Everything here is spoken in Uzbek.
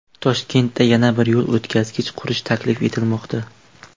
Toshkentda yana bir yo‘l o‘tkazgich qurish taklif etilmoqda.